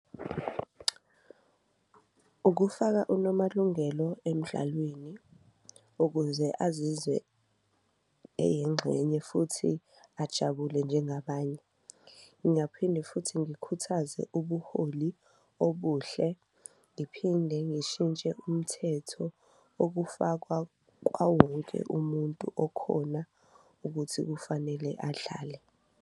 Ukufaka uNomalungelo emdlalweni ukuze azizwe eyingxenye futhi ajabule njengabanye, ngingaphinde futhi ngikhuthaze ubuholi obuhle ngiphinde ngishintshe umthetho okufakwa kwawowonke umuntu okhona ukuthi kufanele adlale.